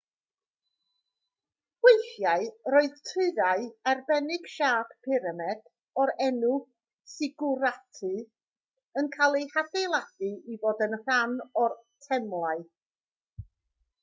weithiau roedd tyrau arbennig siâp pyramid o'r enw sigwratau yn cael eu hadeiladu i fod yn rhan o'r temlau